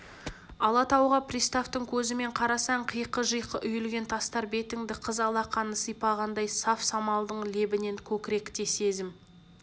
алатауға приставтың көзімен қарасаң қиқы-жиқы үйілген тастар бетіңді қыз алақаны сипағандай саф самалдың лебінен көкіректе сезім